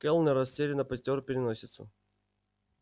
кэллнер растерянно потёр переносицу